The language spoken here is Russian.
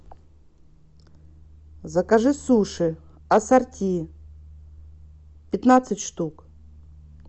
закажи суши ассорти пятнадцать штук